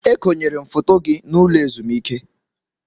E konyere m foto gị n'ụlọ ezumike.